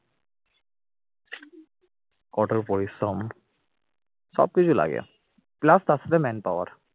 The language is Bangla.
কঠোর পরিশ্রম সবকিছু লাগে plus তার সাথে manpower